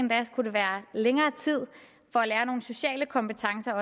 længere tid for at lære nogle sociale kompetencer